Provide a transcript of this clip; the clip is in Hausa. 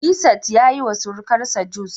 Nefisat yayiwa surukarsa juice